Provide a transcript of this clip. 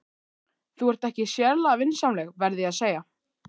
Þú ert ekki sérlega vinsamleg, verð ég að segja.